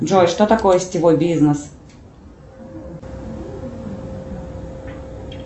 джой что такое сетевой бизнес